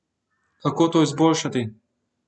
Kako to izboljšati?